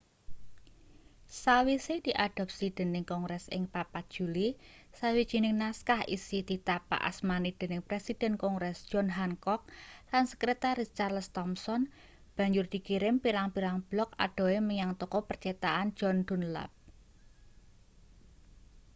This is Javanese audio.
sawise diadopsi dening kongres ing 4 juli sawijining naskah isi ditapakasmani dening presiden kongres john hancock lan sekertaris charles thomson banjur dikirim pirang-pirang blok adohe menyang toko percetakan john dunlap